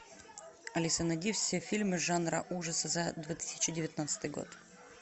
алиса найди все фильмы жанра ужасы за две тысячи девятнадцатый год